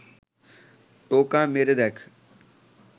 টোকা মেরে দেখ